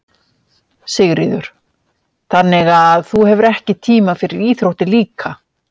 Sigríður: Þannig að þú hefur ekki tíma fyrir íþróttir líka?